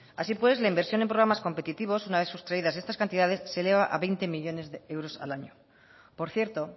así pues la inversión en programas competitivos una vez sustraídas estas cantidades se eleva a veinte millónes de euros al año por cierto